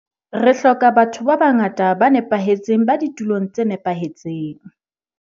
Re hloka ba tho ba bangata ba nepahetseng ba ditulong tse nepahetseng.